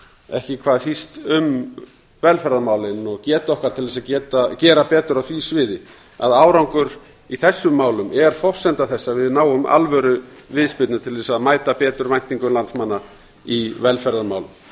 ekki hvað síst um velferðarmálin og getu okkar til að gera betur á því sviði að árangur í þessum málum er forsenda þess að við náum alvöruviðspyrnu til að mæta betur væntingum landsmanna í velferðarmálum